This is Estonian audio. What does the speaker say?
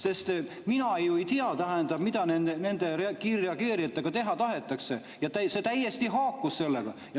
Sest mina ju ei tea, mida nende kiirreageerijatega teha tahetakse, see täiesti haakus sellega.